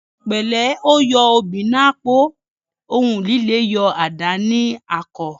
Òhun pẹlẹ, o yo obi n’ apo; ohùn lílé yọ adà ní àkò